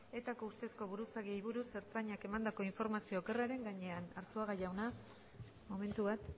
etako ustezko buruzagiei buruz ertzaintzak emandako informazio okerraren gainean arzuaga jauna momentu bat